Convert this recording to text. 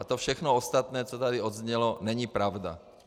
A to všechno ostatní, co tady odznělo, není pravda.